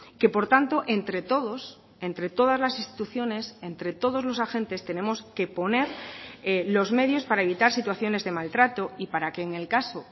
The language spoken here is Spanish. que por tanto entre todos entre todas las instituciones entre todos los agentes tenemos que poner los medios para evitar situaciones de maltrato y para que en el caso